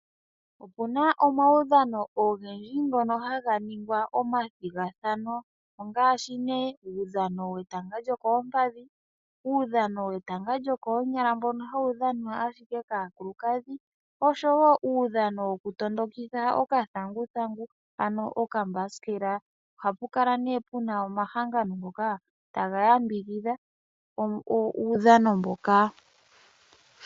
Opuna omawudhano ogendji ngono haga ningwa omathigathano, ongaashi nee uudhano wetanga lyokoompadhi, uudhano wetanga lyokoonyala mbono hawu dhanwa ashike kaakulukadhi osho woo uudhano woku tondokitha okathanguthangu ano okambasikela. Ohapu kala nee puna omahangano ngoka taga yambidhidha uudhano mbuka.